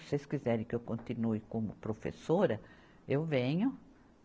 Se vocês quiserem que eu continue como professora, eu venho.